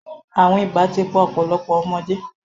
Àrùn ibà ti pa ọ̀pọ̀lọpọ̀ ọmọdé.